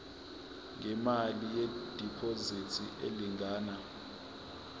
ngemali yediphozithi elingana